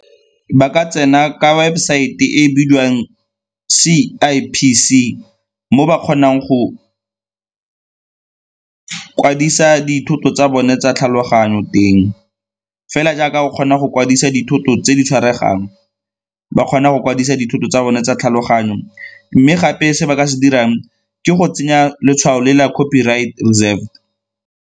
Ba ka tsena ka webosaete e e bidiwang C_I_P_C mo ba kgonang go kwadisa dithoto tsa bone tsa tlhaloganyo teng. Fela jaaka go kgona go kwadisa dithoto tse di tshwaregang ba kgona go kwadisa dithoto tsa bone tsa tlhaloganyo, mme gape se ba ka se dirang ke go tsenya letshwao le la copyright reserved.